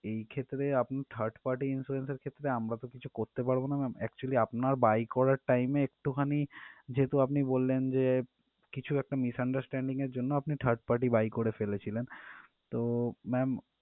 এই ক্ষেত্রে আপনি third party insurance এর ক্ষেত্রে আমরা তো কিছু করতে পারবো না ma'am actually আপনার buy করার time এ একটুখানি যেহেতু আপনি বললেন যে কিছু একটা misunderstanding এর জন্য আপনি third party buy করে ফেলেছিলেন তো ma'am